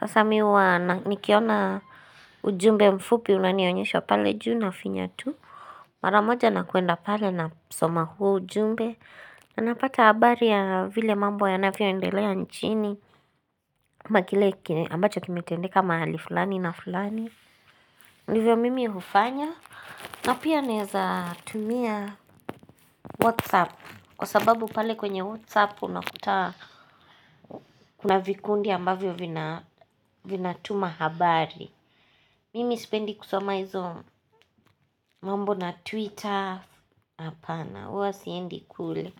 Sasa mimi huwa nikiona ujumbe mfupi unanionyesha pale juu na finya tu. Mara moja nakuenda pale na kusoma huo ujumbe. Anapata habari ya vile mambo yanavyoendelea nchini. Kama kile ambacho kimetendeka mahali fulani na fulani ndivyo mimi hufanya, na pia ninawezatumia Whatsapp kwasababu pale kwenye Whatsapp unakuta. Kuna vikundi ambavyo vinatuma habari. Mimi sipendi kusoma hizo mambo na twitter. Hapana, huwa siendi kule.